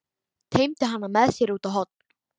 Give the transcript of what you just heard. Teymdi hana með sér út á horn.